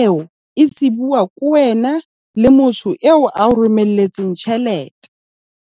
eo e tsebuwa ke wena le motho eo a o romelletsweng tjhelete.